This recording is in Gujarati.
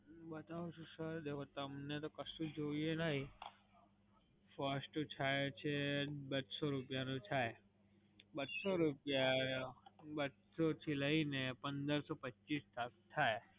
અમ બતાવું છું સર. જો તમને તો કશું જોઈએ નહીં, first થાય છે, બસો રૂપિયાનું થાય. બસો રૂપિયા બસો થી લઈને પંદરસો-પચીસ સુધી થાય.